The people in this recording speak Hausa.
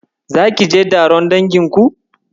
Zaki je taron danginku?